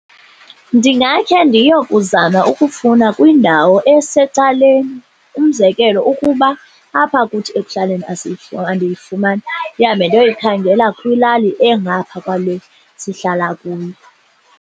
Ndingakhe ndiyokuzama ukufuna kwindawo esecaleni. Umzekelo, ukuba apha kuthi ekuhlaleni andiyifumani ndihambe ndiyokuyikhangela kwilali engapha kwale sihlala kuyo.